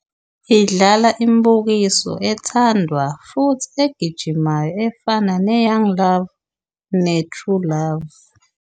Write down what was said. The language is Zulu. Idlala imibukiso ethandwa futhi egijimayo efana neYoung Love nethi True Love